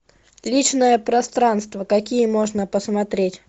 личное пространство какие можно посмотреть